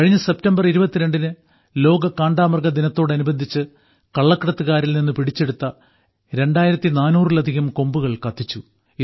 കഴിഞ്ഞ സെപ്റ്റംബർ 22ന് ലോക കാണ്ടാമൃഗദിനത്തോടനുബന്ധിച്ച് കള്ളക്കടത്തുകാരിൽനിന്ന് പിടിച്ചെടുത്ത 2400ലധികം കൊമ്പുകൾ കത്തിച്ചു